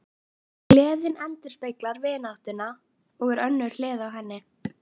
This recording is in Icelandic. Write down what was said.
Gleðin endurspeglar vináttuna og er önnur hlið á henni.